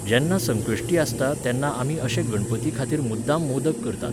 जेन्ना संकश्टी आसता तेन्ना आमी अशे गणपतीखातीर मुद्दम मोदक करतात.